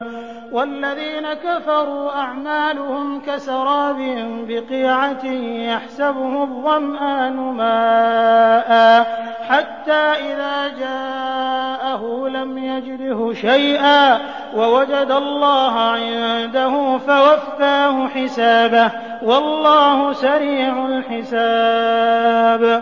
وَالَّذِينَ كَفَرُوا أَعْمَالُهُمْ كَسَرَابٍ بِقِيعَةٍ يَحْسَبُهُ الظَّمْآنُ مَاءً حَتَّىٰ إِذَا جَاءَهُ لَمْ يَجِدْهُ شَيْئًا وَوَجَدَ اللَّهَ عِندَهُ فَوَفَّاهُ حِسَابَهُ ۗ وَاللَّهُ سَرِيعُ الْحِسَابِ